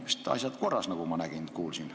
Meil vist on asjad korras, nagu ma kuulsin.